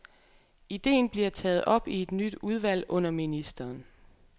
Idéen bliver taget op i et nyt udvalg under ministeren.